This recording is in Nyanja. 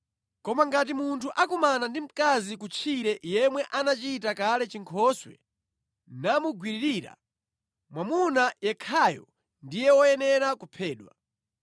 Koma ngati munthu akumana ndi mkazi kutchire yemwe anachita kale chinkhoswe namugwiririra, mwamuna yekhayo ndiye woyenera kuphedwa.